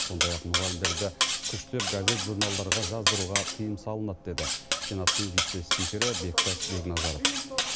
сондай ақ мұғалімдерді күштеп газет журналдарға жаздыруға тыйым салынады деді сенаттың вице спикері бектас бекназаров